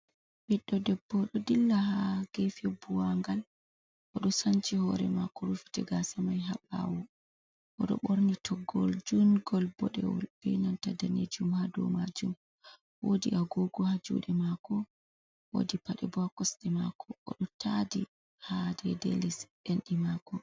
Ɓiɗɗo debbo ɗo dilla ha gefi buwaa'ngal, o ɗo sanci hore mako rufiti gasa mai ha ɓawo. O ɗo ɓorni toggol jun'ngol boɗewol, ɓe nanta danejum ha dau majum. Wodi agogo ha juɗe mako, wodi paɗe bo ha kosɗe mako. O ɗo tadi ha dei-dei lis endi mako.